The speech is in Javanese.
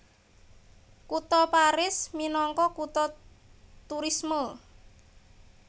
Kutha Paris minangka kutha turisme